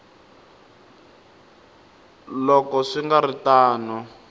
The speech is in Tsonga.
loko swi nga ri tano